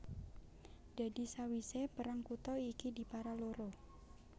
Dadi sawisé perang kutha iki dipara loro